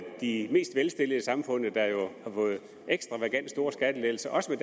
de mest velstillede i samfundet der jo har fået ekstravagant store skattelettelser også